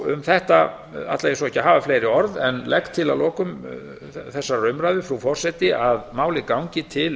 um þetta ætla ég ekki að hafa fleiri orð en legg til að lokum þessarar umræðu frú forseti að málið gangi til